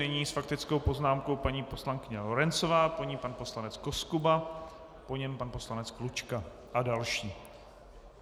Nyní s faktickou poznámkou paní poslankyně Lorencová, po ní pan poslanec Koskuba, po něm pan poslanec Klučka a další.